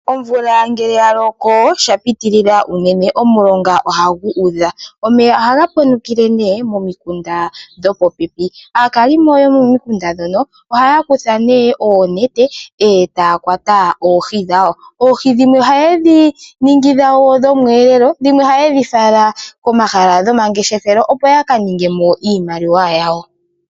Omvula ngele yaloko shapitilila uunene omilonga ohadhi udha. Omeya ohaga ponokele momikunda nee dhopopepi. Aakalimo nee yomomikunda ne moka ohaya kutha oonete ee taya kwata oohi dhawo. Oohi dhino oha dhiningi dhawo dhomweelelo dhimwe ohaye dhi fala komahala gomangefeshelo opo yakaningemo iimaliwa yawo.